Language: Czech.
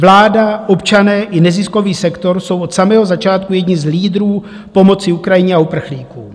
Vláda, občané i neziskový sektor jsou od samého začátku jedni z lídrů pomoci Ukrajině a uprchlíkům.